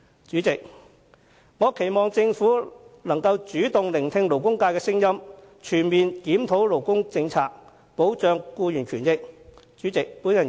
主席，我希望政府主動聆聽勞工界的聲音，全面檢討勞工政策，以及保障僱員的權益。